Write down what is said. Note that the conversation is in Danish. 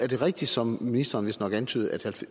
det rigtigt som ministeren vistnok antydede at